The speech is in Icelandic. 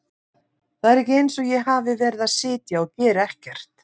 Það er ekki eins og ég hafi verið að sitja og gera ekkert.